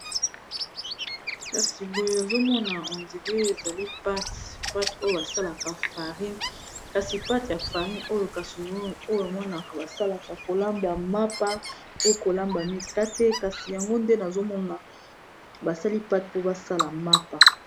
kasi boye ozomona hondiree ezali pate pate oyo basalaka farine kasi pate ya farine oyo kaso oyo emonaka basalaka kolamba mapa poyo kolamba mikate kasi yango nde nazomona basali pate mpo basala mapa